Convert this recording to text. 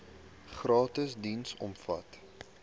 gratis diens omvat